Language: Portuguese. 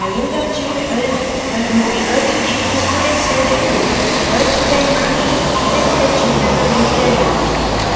ainda tinha... antes no antes de de escurecer de tudo... antes da imagem refletida na no telão.